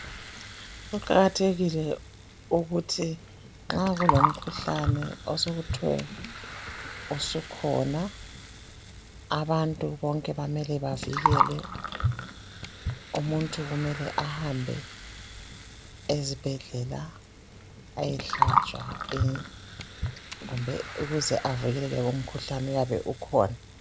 Kuqakathekile ukuthi nxa kulomkhuhlane osokuthwe usukhona abantu bonke bamele bavikelwe. Umuntu kumele ahambe ezibhedlela ayehlatshwa kumbe ukuze avikeleke kulomkhuhlane oyabe ukhona.